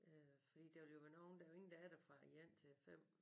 Øh fordi der vil jo være nogle der er jo ingen der er der fra 1 til 5